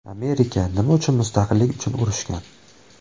Amerika nima uchun mustaqillik uchun urushgan?